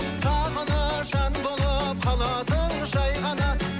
сағыныш ән болып қаласың жай ғана